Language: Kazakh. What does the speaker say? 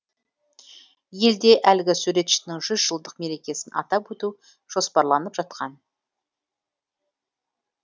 елде әлгі суретшінің жүз жылдық мерекесін атап өту жоспарланып жатқан